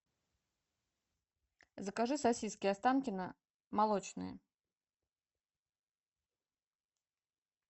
закажи сосиски останкино молочные